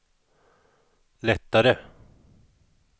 lättare